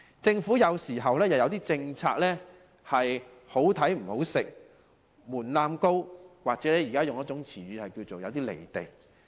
政府政策有時"好睇唔好食"，門檻高，又或引用近來的潮語，是有些"離地"。